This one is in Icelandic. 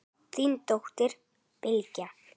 Þín dóttir, Bylgja.